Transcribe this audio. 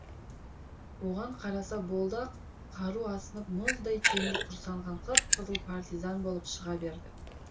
оған қараса болды ақ қару асынып мұздай темір құрсанған қып қызыл партизан болып шыға берді